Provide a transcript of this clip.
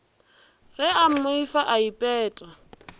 ge a mmoifa a ipeta